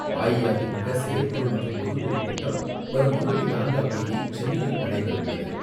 அஇஅதிமுக செயற்குழு மற்றும் பொதுக்குழு கூட்டம் வரும் இருபத்து நான்காம் தேதி சென்னையில் நடைபெற உள்ளது.